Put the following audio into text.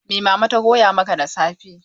Mai Mama ta koya maka da safe?